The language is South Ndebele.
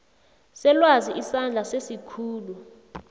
selwazi isandla sesikhulu